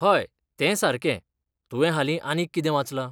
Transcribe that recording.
हय, तें सारकें, तुवें हालीं आनीक कितें वाचलां?